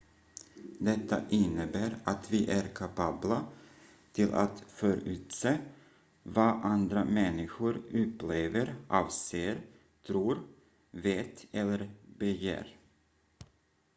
detta innebär att vi är kapabla till att förutse vad andra människor upplever avser tror vet eller begär